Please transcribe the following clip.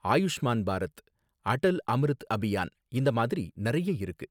ஆயுஷ்மான் பாரத், அடல் அம்ரித் அபியான் இந்த மாதிரி நறைய இருக்கு